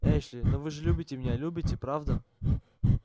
эшли но вы же любите меня любите правда